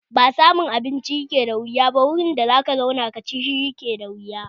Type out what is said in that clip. Ba samun abinci ke da wuya ba, wuri da zaka je ka ci shi ke da wuya